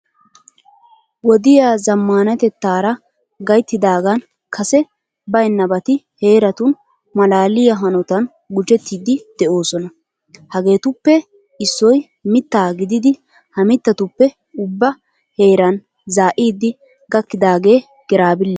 Wodiya zammaanatettaara gayttidaagan kase baynnabaati heeratun maalaaliya hanotan gujettiiddi de'oosona. Hageetuppe issoy mittaa gididi ha mittatuppe ubba heeraa zaa'idi gakkidaagee giraabiiliya.